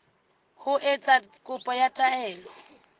ho etsa kopo ya taelo